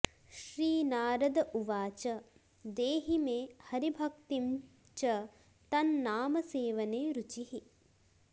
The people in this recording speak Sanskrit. श्रीनारद उवाच देहि मे हरिभक्तिं च तन्नामसेवने रुचिः